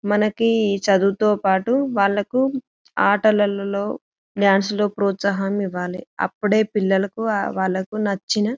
మనకి చదువుతో పాటు వాళ్లకు ఆటలలో డాన్స్ లలో ప్రోత్సాహం ఇవ్వాలి అప్పుడే పిల్లలకు వాళ్ళకి నచ్చిన --